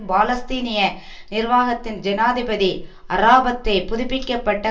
பாலஸ்தீனிய நிர்வாகத்தின் ஜனாதிபதி அராபாத்தை புதுப்பிக்க பட்ட